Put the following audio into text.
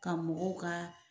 Ka mɔgɔw ka